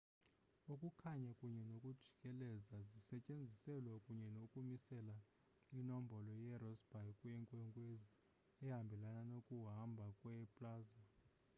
ukukhanya kunye nokujikeleza zisetyenziselwa kunye ukumisela inombolo yerossby yenkwenkwezi ehambelana nokuhamba kwe plasma